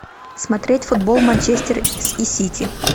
смотреть футбол манчестер и сити